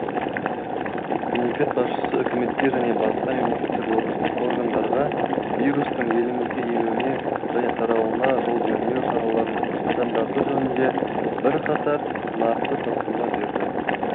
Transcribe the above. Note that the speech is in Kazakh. мемлекет басшысы үкіметке және басқа мемлекеттік органдарға вирустың елімізге енуіне және таралуына жол бермеу шараларын қатаңдату жөнінде бірқатар нақты тапсырма берді